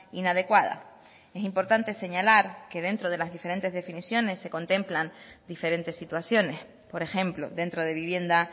inadecuada es importante señalar que dentro de las diferentes definiciones se contemplan diferentes situaciones por ejemplo dentro de vivienda